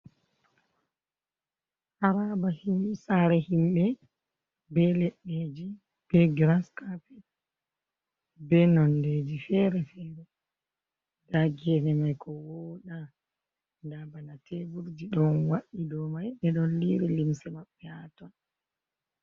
Haraba sare himɓe, ɓe leddeji be grascapet be nondeji fere-fere dagene mai ko voda, dabana teburji don wadi domai bedon liri limse maɓɓe haton.